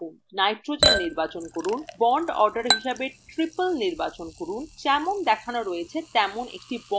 nitrogen নির্বাচন করুন bond order হিসাবে triple নির্বাচন করুন এবং যেমন দেখান রয়েছে তেমন একটি bond আঁকুন